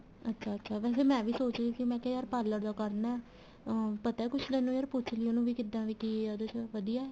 ਅੱਛਾ ਅੱਛਾ ਵੈਸੇ ਮੈਂ ਵੀ ਸੋਚ ਰਹੀ ਸੀ ਮੈਂ ਕਿਹਾ ਯਾਰ parlor ਦਾ ਕਰਨਾ ਏ ਅਹ ਪਤਾ ਕੁੱਛ ਏ ਤੈਨੂੰ ਯਾਰ ਪੁੱਛ ਲਈ ਉਹਨੂੰ ਵੀ ਕਿੱਦਾ ਵੀ ਕੀ ਏ ਉਹਦੇ ਵਿੱਚ ਵਧੀਆ ਏ